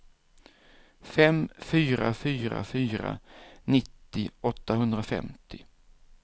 fem fyra fyra fyra nittio åttahundrafemtio